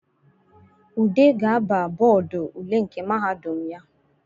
Ude ga-aba bọdụ ule nke mahadum ya